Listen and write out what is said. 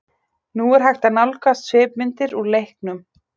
Nú er hægt að nálgast svipmyndir úr leiknum.